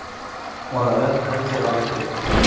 Oradan ancha vaqt o‘tdi.